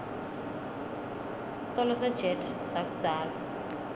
sitolo sejet sakudzala